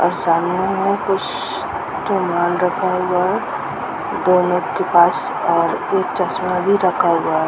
और सामने में कुछ समान रखा हुआ है और एक चश्मा भी रखा हुआ है।